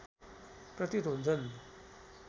प्रतीत हुन्छन्